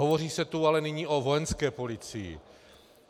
Hovoří se tu ale nyní o Vojenské policii.